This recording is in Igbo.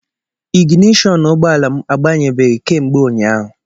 Ignishọn ụgbọala m agbanyebeghị kemgbe ụnyaahụ.